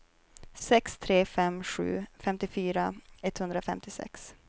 sex tre fem sju femtiofyra etthundrafemtiosex